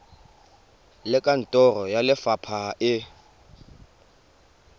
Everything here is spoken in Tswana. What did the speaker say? le kantoro ya lefapha e